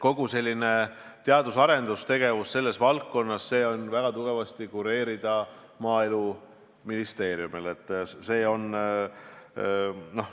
Kogu teadus- ja arendustegevus selles valdkonnas on Maaeluministeeriumi kureerida.